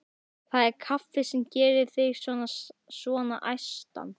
Það er kaffið sem gerir þig svona æstan.